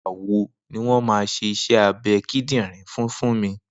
Nigbà wó niwọn mà ṣé iṣẹ àbẹ̀ kíndìnrín fùn Funmi?